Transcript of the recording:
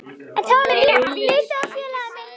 En þá varð mér litið á félaga mína.